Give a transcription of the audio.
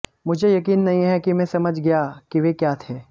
मुझे यकीन नहीं है कि मैं समझ गया कि वे क्या थे